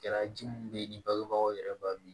Kɛra ji min bɛ yen ni bangebagaw yɛrɛ b'a min